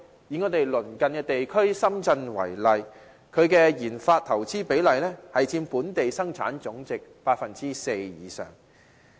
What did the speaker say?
以我們鄰近地區深圳為例，當地的研發投資佔本地生產總值 4% 以上。